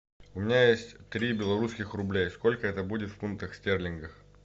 у меня есть три белорусских рубля сколько это будет в фунтах стерлингах